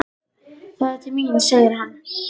Það er til mín, segir hann.